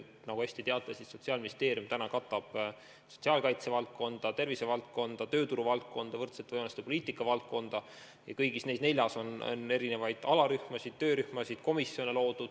Nagu te hästi teate, Sotsiaalministeerium katab praegu sotsiaalkaitsevaldkonda, tervisevaldkonda, tööturuvaldkonda, võrdsete võimaluste poliitika valdkonda ja kõigis neis neljas on erinevaid alarühmasid, töörühmasid, komisjone loodud.